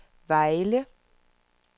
Vejle